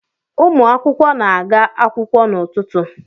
Ụmụ akwụkwọ na-aga akwụkwọ n’ụtụtụ